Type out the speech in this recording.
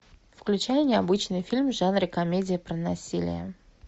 включай необычный фильм в жанре комедия про насилие